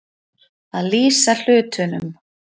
Að lýsa hlutunum